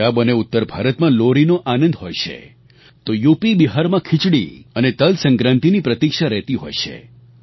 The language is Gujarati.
પંજાબ અને ઉત્તર ભારતમાં લોહરી નો આનંદ હોય છે તો યુપીબિહારમાં ખિચડી અને તલસંક્રાંતિની પ્રતિક્ષા રહેતી હોય છે